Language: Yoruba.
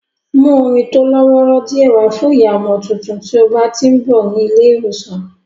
Mú omi tó lọ́wọ́rọ́ díẹ̀ wá fún ìyá ọmọ tuntun tí o bá tí ń bọ̀ ní ilé ìwòsàn